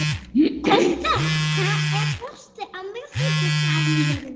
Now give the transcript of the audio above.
Kristel, er bolti á miðvikudaginn?